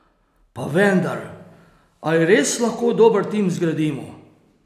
Pa vendar, ali res lahko dober tim zgradimo?